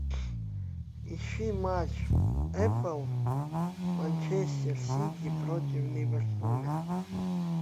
ищи матч апл манчестер сити против ливерпуля